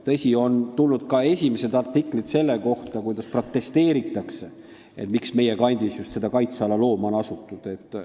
Tõsi, on tulnud ka esimesed artiklid, kus protesteeritakse, miks on seal kandis just kaitseala looma asutud.